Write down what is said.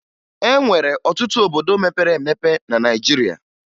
E nwere ọtụtụ obodo mepere emepe na Naịjirịa